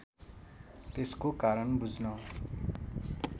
त्यसको कारण बुझ्न